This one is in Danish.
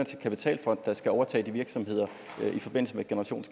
kapitalfonde der skal overtage de virksomheder